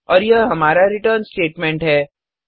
और यह हमारा रिटर्न स्टेटमेंट है